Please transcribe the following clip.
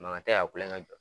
Makan tɛ ka kulonkɛ jɔ.